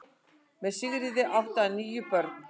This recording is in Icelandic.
Með Sigríði átti hann níu börn.